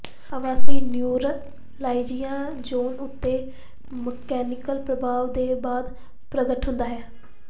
ਆਵਾਸੀ neuralgia zone ਉੱਤੇ mechanical ਪ੍ਰਭਾਵ ਦੇ ਬਾਅਦ ਪ੍ਰਗਟ ਹੁੰਦਾ ਹੈ